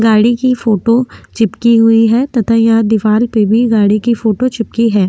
गाड़ी की फ़ोटो चिपकी हुई है तथा यहाँ दिवार पे भी गाड़ी की फ़ोटो चिपकी है।